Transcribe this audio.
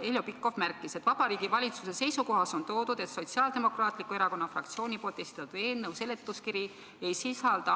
"Heljo Pikhof märkis, et Vabariigi Valitsuse seisukohas on toodud, et Sotsiaaldemokraatliku Erakonna fraktsiooni poolt esitatud eelnõu seletuskiri ei sisalda